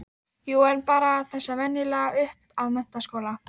Menn spurðust almæltra tíðinda í borginni með eftirfarandi hætti